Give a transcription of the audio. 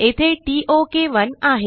येथे टोक1 आहे